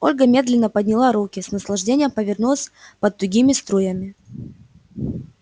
ольга медленно подняла руки с наслаждением повернулась под тугими струями